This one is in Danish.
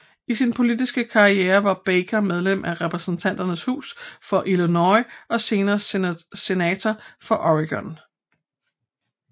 I sin politiske karriere var Baker medlem af Repræsentanternes Hus for Illinois og senere Senator for Oregon